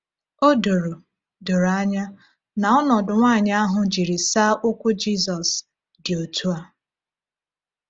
O doro doro anya na ọnọdụ nwanyị ahụ jiri saa ụkwụ Jizọs dị otu a.